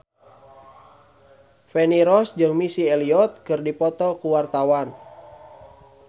Feni Rose jeung Missy Elliott keur dipoto ku wartawan